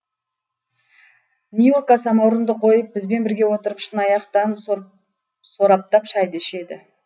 нюрка самаурынды қойып бізбен бірге отырып шыны аяқтан сораптап шайды ішеді